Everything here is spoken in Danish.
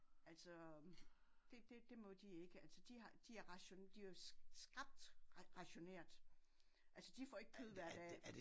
Altså det det det må de ikke altså de har de de er jo skrapt rationeret de får ikke kød hver dag